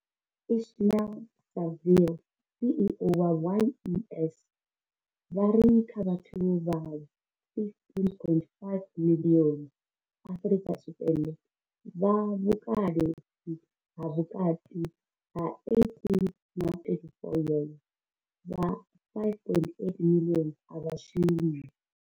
Ismail-Saville CEO wa YES, vha ri kha vhathu vha 15.5 miḽioni Afrika Tshipembe vha vhukale ha vhukati ha 18 na 34 yeze, vha 5.8 miḽioni a vha shumi.